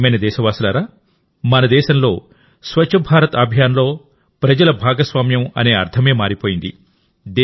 నా ప్రియమైన దేశవాసులారా మన దేశంలో స్వచ్ఛ భారత్ అభియాన్లో ప్రజల భాగస్వామ్యం అనే అర్థమే మారిపోయింది